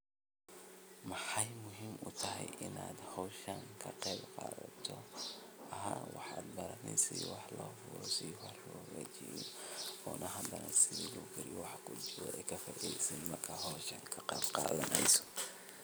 Mxey muhim utahay inaad howshan ka qeb qadato, waxa baraneyse sida wax lohagajiyo ona hadana sidi lokariyo wax kujiro ee kafaideysan marka howshan kaqeeb qadaneyso.